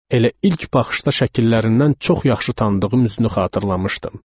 Elə ilk baxışda şəkillərindən çox yaxşı tanıdığım üzünü xatırlamışdım.